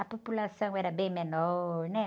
A população era bem menor, né?